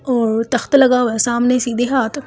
और तख्त लगा हुआ है सामने सीधे हाथ--